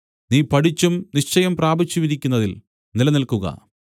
നീ പഠിച്ചും നിശ്ചയം പ്രാപിച്ചുമിരിക്കുന്നതിൽ നിലനിൽക്കുക